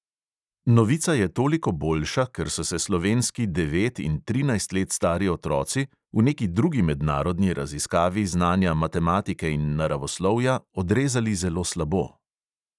Novica je toliko boljša, ker so se slovenski devet in trinajst let stari otroci v neki drugi mednarodni raziskavi znanja matematike in naravoslovja odrezali zelo slabo.